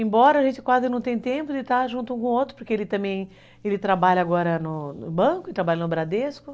Embora a gente quase não tenha tempo de estar junto um com o outro, porque ele também trabalha agora no banco, trabalha no Bradesco.